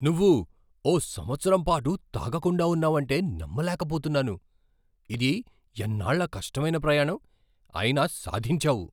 నువ్వు ఓ సంవత్సరం పాటు తాగకుండా ఉన్నావంటే నమ్మలేకపోతున్నాను! ఇది ఎన్నాళ్ళ కష్టమైన ప్రయాణం, అయినా సాధించావు!